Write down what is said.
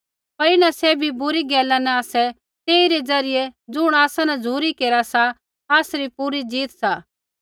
पर इन्हां सैभी बुरी गैला न आसै तेइरै ज़रियै ज़ुण आसा न झ़ुरी केरा सा आसरी पूरी जीत सा